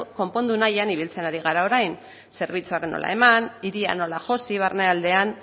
konpondu nahian ibiltzen ari gara orain zerbitzua nola eman hiria nola josi barnealdean